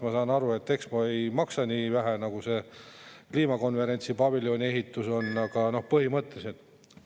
Ma saan aru, et Expo ei maksa nii vähe nagu see kliimakonverentsi paviljoni ehitus, aga põhimõtteliselt …